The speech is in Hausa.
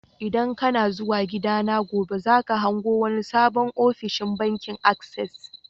ldan kana zuwa gida na gobe, za ka hango wani sabon ofishin bankin access.